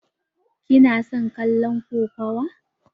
Ki na son kallon kokawa?